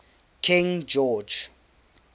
king george